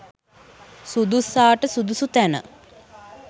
සුදුස්සාට සුදුසු තැන